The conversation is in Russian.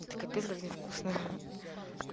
это капец как не вкусно